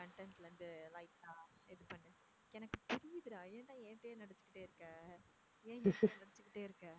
content லருந்து light ஆ இது பண்ணு~ எனக்கு தெரியுதுடா, ஏன் டா என்கிட்டயே நடிச்சுக்கிட்டே இருக்க, ஏன் இப்போ நடிச்சுக்கிட்டே இருக்க.